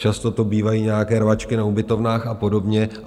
Často to bývají nějaké rvačky na ubytovnách a podobně.